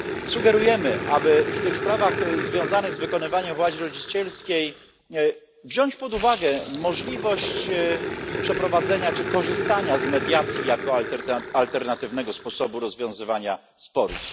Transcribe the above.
Sugerujemy, aby w tych sprawach związanych z wykonywaniem władzy rodzicielskiej wziąć pod uwagę możliwość przeprowadzenia czy korzystania z mediacji jako alternatywnego sposobu rozwiązywania sporów.